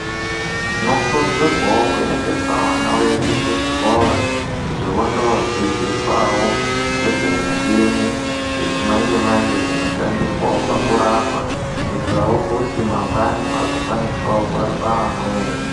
Tinokurudzirwawo kuendesa vana vedu kuzvikora kuti vondodzidziswawo ngezvemichini dzechimanje manje dzinoshandiswawo pakurapa kuitirawo kuti mangwani vazokwanisawo kurapa amweni.